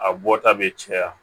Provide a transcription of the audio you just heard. A bɔta bɛ caya